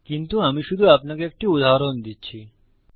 কিন্তু আমি শুধু আপনাকে একটি উদাহরণ দিচ্ছি